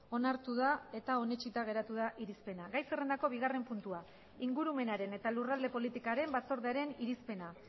onartu da eta onetsita geratu da irizpena gai zerrendako bigarren puntua ingurumenaren eta lurralde politikaren batzordearen irizpena